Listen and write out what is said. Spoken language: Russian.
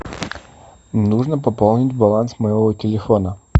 нужно пополнить баланс моего телефона